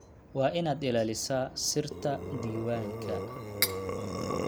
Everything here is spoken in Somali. Waa inaad ilaalisaa sirta diiwaanka